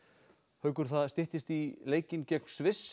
haukur styttist í leikinn gegn Sviss